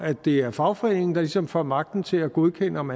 det er fagforeningen der ligesom får magten til at godkende om